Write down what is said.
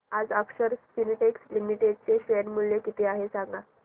आज Akshar Spintex Limited चे share मूल्य किती आहे सांगा